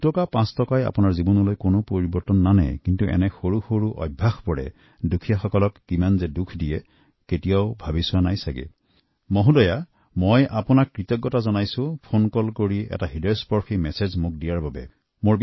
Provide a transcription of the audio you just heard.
দুটকা পাঁচ টকাত আপোনাৰ জীৱনত কোনো প্ৰভাৱ নপৰে কিন্তু আপোনাৰ এই আচৰণে আনৰ মনত কিমান গভীৰ আঘাত দিয়ে তাক কেতিয়াবা ভাবি চাইছেনে মেডাম আপুনি এনে হৃদয়স্পৰ্শী ফোন কৰি এনে বাৰ্তা দিয়াৰ বাবে মই আপোনাৰ ওচৰত কৃতজ্ঞ